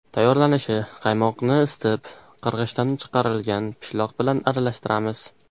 Tayyorlanishi: Qaymoqni isitib, qirg‘ichdan chiqarilgan pishloq bilan aralashtiramiz.